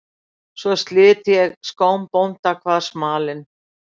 Svo slit ég skóm bónda, kvað smalinn.